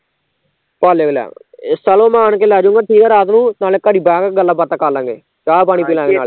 ਪਾਲੇ ਤੋਂ ਲੈ ਆਵਾਂਗੇ ਚਲੋ ਮੈਂ ਆਣ ਕੇ ਲੇਜਊਗਾ ਠੀਕ ਐ ਰਾਤ ਨੂੰ, ਨਾਲੇ ਘੜੀ ਬਹਿਕੇ ਗੱਲਾਂ ਬਾਤਾਂ ਕਰਲਾਂਗੇ, ਚਾਹ ਪਾਣੀ ਪਿਲਾਂਗੇ ਨਾਲੇ